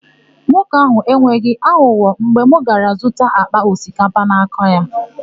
Nwoke áhụ̀ enweghị aghụghọ mgbe m gara zụta àkpà osikapa n'aka ya.